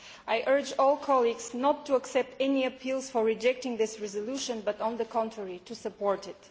I urge all my colleagues not to accept any appeals to reject this resolution but, on the contrary, to support it.